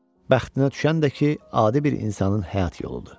Bəxtinə düşən də ki, adi bir insanın həyat yoludur.